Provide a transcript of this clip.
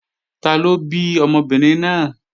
Taló bí ọmọbìnrin náà?